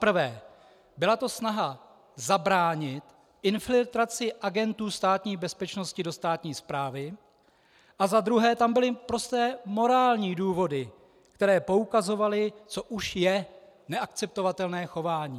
Zaprvé, byla to snaha zabránit infiltraci agentů Státní bezpečnosti do státní správy, a za druhé tam byly prosté morální důvody, které poukazovaly, co už je neakceptovatelné chování.